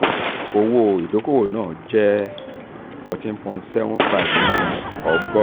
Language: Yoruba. owó ìdókòwò náà owó ìdókòwò náà jẹ fourteen point seven five nínú ọgọ́rùn-ún.